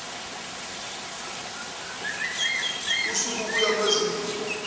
usuku kuya kwezimbili